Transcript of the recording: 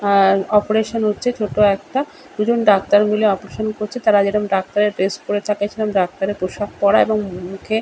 অ্যা operation হচ্ছে ছোট একটা দুজন ডাক্তার মিলে অপারেশন করছে তারা যেরম ডাক্তারের ড্রেস পড়ে থাকে ডাক্তারের পোষাক পড়া। এবং মুখে--